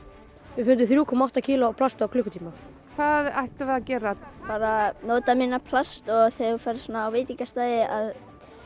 við fundum þrjú komma átta kíló af plasti á klukkutíma hvað ættum við að gera bara nota minna plast og þegar þú ferð svona á veitingastaði að